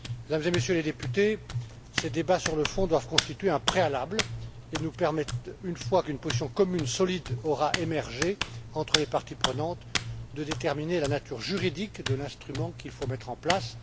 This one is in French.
Mesdames et Messieurs les députés, ces débats sur le fond doivent constituer un préalable et nous permettre, une fois qu'une position commune, solide, aura émergé entre les parties prenantes, de déterminer la nature juridique de l'instrument à mettre en place.